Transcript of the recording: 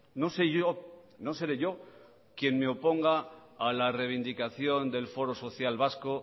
no sé yo no seré yo quien me oponga a la reivindicación del foro social vasco